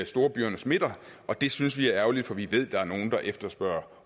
storbyernes midter og det synes vi er ærgerligt for vi ved at der er nogle der efterspørger